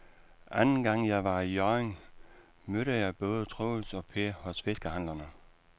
Anden gang jeg var i Hjørring, mødte jeg både Troels og Per hos fiskehandlerne.